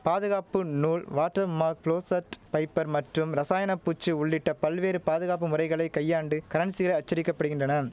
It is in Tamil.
பாதுகாப்பு நூல் வாட்டர் மார்க் புளோசட் பைப்பர் மற்றும் ரசாயனப் பூச்சு உள்ளிட்ட பல்வேறு பாதுகாப்பு முறைகளை கையாண்டு கரன்சிகளை அச்சடிக்கப்படுகின்றனம்